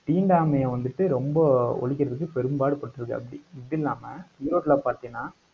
தீண்டாமையை வந்துட்டு ரொம்ப ஒழிக்கறதுக்கு பெரும்பாடு பட்டிருக்காப்டி, இது இல்லாம, ஈரோட்டுல பாத்தினா